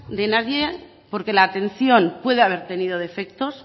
de nadie porque la atención puede haber tenido defectos